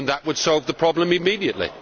That would solve the problem immediately.